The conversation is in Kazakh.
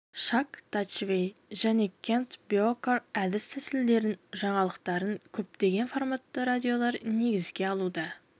чак дашвей және кент бьокаар әдіс-тәсілдерін жаңалықтарын көптеген форматты радиолар негізге алуда